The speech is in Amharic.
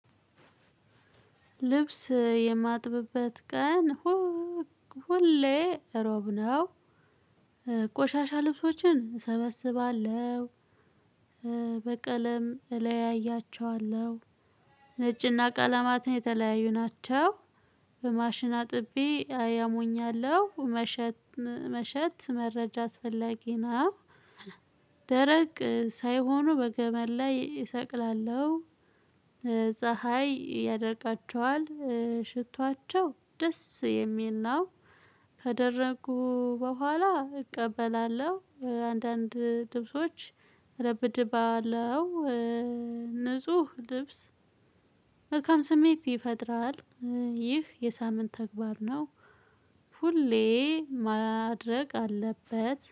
ልብስ የማጥብበት ቀን ሁሌ ሮብ ነው። ቆሻሻ ልብሶችን እሰበስባለሁ። በቀለም እለያያችኋለሁ ነጭና ቀለማት የተለያዩ ናቸው። በማሽን አጥቤ አያሞኛለሁ መሸት መሸት መረጃ አስፈላጊ ነው። ደረቅ ሳይሆኑ በገመድ ላይ እሰቅላለሁ። ፀሀይ ያደርቃቸዋል። ሽቷቸው ደስ የሚል ነው። ከደረቁ በኋላ እቀበላለሁ። አንዳንድ ልብሶች እረብድባለሁ። ልብስ መልካም ስሜት ይፈጥራል። ይህ የሳምንት ተግባር ነው። ሁሌ ማድረግ አለበት